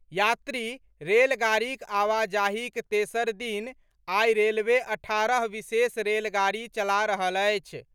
यात्री रेलगाड़ीक आवाजाहीक तेसर दिन आई रेलवे अठारह विशेष रेलगाड़ी चला रहल अछि।